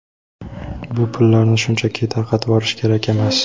Bu pullarni shunchaki tarqatvorish kerak emas.